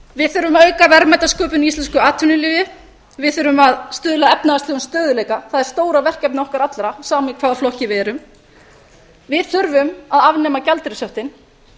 við þurfum að auka verðmætasköpun í íslensku atvinnulífi við þurfum að stuðla að efnahagslegum stöðugleika það er stóra verkefnið okkar allra sama í hvaða flokki við erum við þurfum að afnema gjaldeyrishöftin